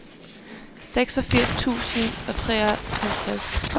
seksogfirs tusind og treoghalvtreds